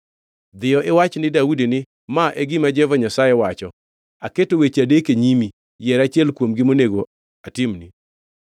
“Dhiyo iwach ni Daudi ni, ‘Ma e gima Jehova Nyasaye wacho: Aketo weche adek e nyimi, yier achiel kuomgi monego atimni.’ ”